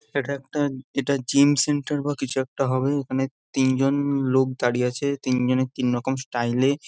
এটা একটা এইটা জিম সেন্টার বা কিছু একটা হবে এইখানে তিনজন লোক দাঁড়িয়ে আছে তিনজনের তিনরকম স্টাইল এ।